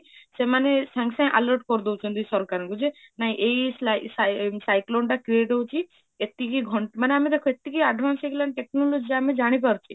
ସେମାନେ ସଙ୍ଗେ ସଙ୍ଗେ alert କରି ଦୋଉଛନ୍ତି ସରକାରଙ୍କୁ ଯେ ନାହିଁ ଏଇ cyclone ଟା create ହାଉଛି ଏତିକି ଘଣ୍ଟା ମାନେ ଦେଖ ଏତିକି advance ହେଇ ଗଲାଣି ଆମ technology ଆମେ ଜାଣି ପାରୁଛି